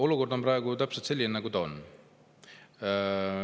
Olukord on praegu selline, nagu ta on.